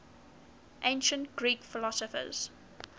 ancient greek philosophers